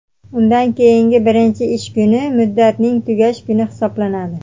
undan keyingi birinchi ish kuni muddatning tugash kuni hisoblanadi.